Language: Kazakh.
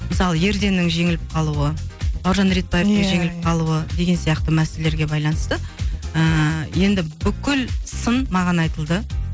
мысалы ерденнің жеңіліп қалуы бауыржан ретбаевтың жеңіліп қалуы деген сияқты мәселелерге байланысты ііі енді бүкіл сын маған айтылды